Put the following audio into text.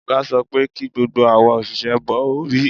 Ọ̀gá sọ pé kí gbogbo awa òṣìṣẹ́ bo orí